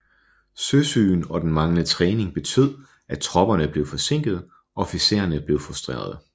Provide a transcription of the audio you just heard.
Søsygen og den manglende træning betød at tropperne blev forsinket og officererne blev frustrerede